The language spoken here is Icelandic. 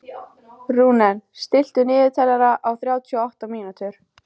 Rúnel, stilltu niðurteljara á þrjátíu og átta mínútur.